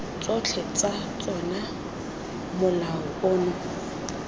tsotlhe tsa tsona molao ono